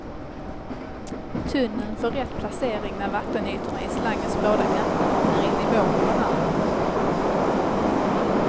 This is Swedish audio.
Tunneln får rätt placering när vattenytorna i slangens båda ändar är i nivå med varandra.